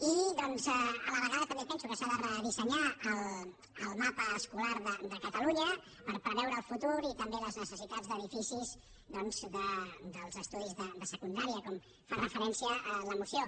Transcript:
i doncs a la vegada també penso que s’ha de redissenyar el mapa escolar de catalunya per preveure el futur i també les necessitats d’edificis dels estudis de secundària com hi fa referència la moció